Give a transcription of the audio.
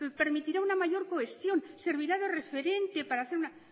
permitirá una mayor cohesión servirá de referente para hacer una